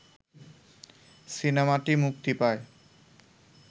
সিনেমাটি মুক্তি পায়